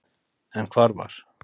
En hvar var